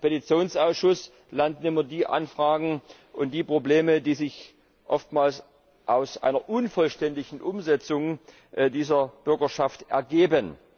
Im Petitionsausschuss landen immer die Anfragen und die Probleme, die sich oftmals aus einer unvollständigen Umsetzung dieser Bürgerschaft ergeben.